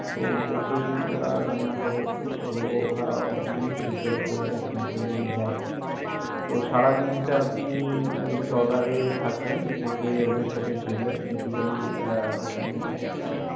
তো bote এই ওঁরা রান্না করে। তো ওঁরা ওখানেই prepare করে আপনাকে দেয়। তো সারা দিনটা আপনি ঐ ট্রলার এ থাকলেন। থেকে ওদের সাথে ঘুরলেন। basically ওখানে অনেক।